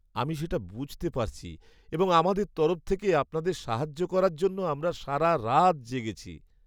আমি সেটা বুঝতে পারছি এবং আমাদের তরফ থেকে আপনাদের সাহায্য করার জন্য আমরা সারা রাত জেগেছি।